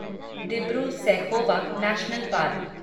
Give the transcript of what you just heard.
Dibru Saikhowa national park